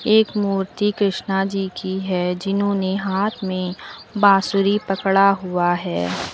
एक मूर्ति कृष्णा जी की है जिन्होंने हाथ में बांसुरी पकड़ा हुआ है।